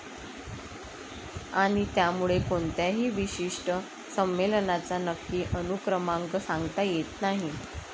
आणि त्यामुळे कोणत्याही विशिष्ट संमेलनाचा नक्की अनुक्रमांक सांगता येत नाही.